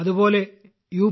അതുപോലെ യു